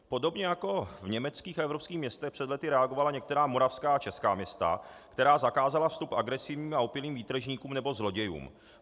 Podobně jako v německých a evropských městech před lety reagovala některá moravská a česká města, která zakázala vstup agresivním a opilým výtržníkům nebo zlodějům.